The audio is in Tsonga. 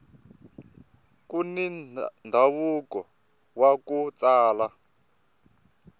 kuni ndhavuko waku tsala